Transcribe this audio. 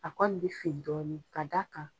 A kɔni bɛ fin dɔɔnin bari ka da a kan.